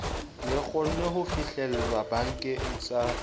le kgonwe ho fihlelwabakeng sa